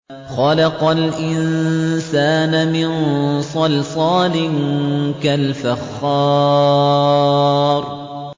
خَلَقَ الْإِنسَانَ مِن صَلْصَالٍ كَالْفَخَّارِ